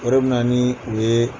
Yɔrɔ min na ni u ye.